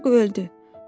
Uşaq öldü.